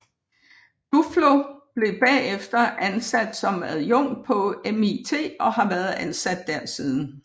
Duflo blev bagefter ansat som adjunkt på MIT og har været ansat der siden